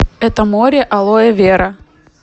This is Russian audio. это море алоэвера